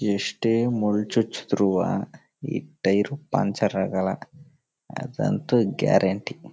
ಎಷ್ಟೇ ಮುಳ್ಳ ಚುಚ್ಚುದ್ರುವ ಈ ಟೈರ್ ಪಂಚರ್ ಆಗಲ್ಲಾಅದು ಅಂತೂ ಗ್ಯಾರಂಟಿ .